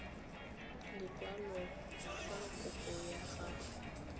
lekwalo fa kopo ya gago